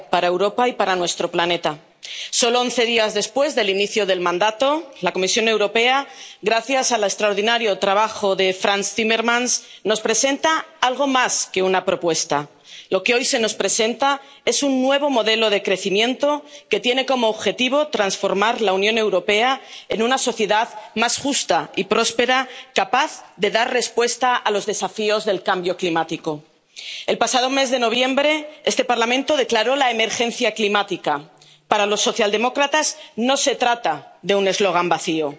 Señor presidente. Presidenta, hoy tenemos la oportunidad de iniciar una nueva era. Para Europa y para nuestro planeta. Solo once días después del inicio del mandato, la Comisión Europea, gracias al extraordinario trabajo de Frans Timmermans, nos presenta algo más que una propuesta. Lo que hoy se nos presenta es un nuevo modelo de crecimiento, que tiene como objetivo transformar la Unión Europea en una sociedad más justa y próspera, capaz de dar respuesta a los desafíos del cambio climático. El pasado mes de noviembre este Parlamento declaró la emergencia climática. Para los socialdemócratas no se trata de un eslogan vacío.